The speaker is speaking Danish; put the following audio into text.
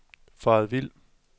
faret vild